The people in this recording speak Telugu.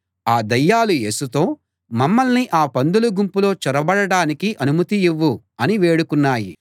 ఆ దయ్యాలు యేసుతో మమ్మల్ని ఆ పందుల గుంపులో చొరబడడానికి అనుమతి ఇవ్వు అని వేడుకున్నాయి